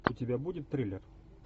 у тебя будет триллер